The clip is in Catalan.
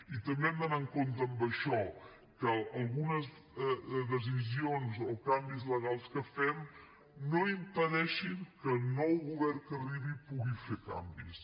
i també hem d’anar amb compte amb això que algunes decisions o canvis legals que fem no impedeixin que el nou govern que arribi pugui fer canvis